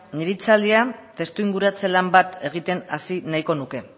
nire hitzaldia testu inguratze lan bat egiten hasi nahiko nuke